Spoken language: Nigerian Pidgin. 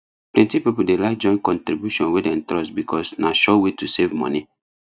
plenty people dey like join contribution wey dem trust because na sure way to save money